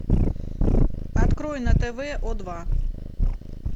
открой на тв о два